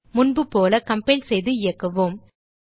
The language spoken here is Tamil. முன்புபோல கம்பைல் செய்து இயக்குவோம்